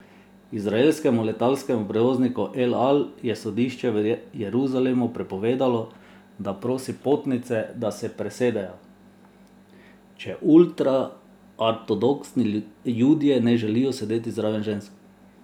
Izraelskemu letalskemu prevozniku El Al je sodišče v Jeruzalemu prepovedalo, da prosi potnice, da se presedejo, če ultraortodoksni Judje ne želijo sedeti zraven žensk.